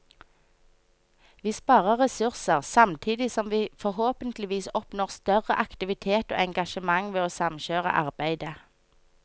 Vi sparer ressurser, samtidig som vi forhåpentligvis oppnår større aktivitet og engasjement ved å samkjøre arbeidet.